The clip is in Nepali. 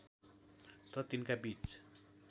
त तिनका बीच